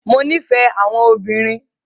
Mo nífẹ̀ẹ́ àwọn obìnrin.